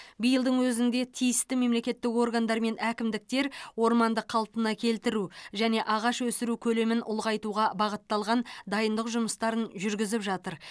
биылдың өзінде тиісті мемлекеттік органдар мен әкімдіктер орманды қалпына келтіру және ағаш өсіру көлемін ұлғайтуға бағытталған дайындық жұмыстарын жүргізіп жатыр